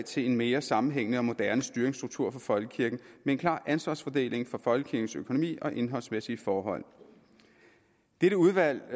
til en mere sammenhængende og moderne styringsstruktur for folkekirken med en klar ansvarsfordeling for folkekirkens økonomi og indholdsmæssige forhold dette udvalg